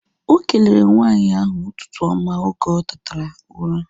Okelere nwaanyị ahu ụtụtụ oma oge otetara ụra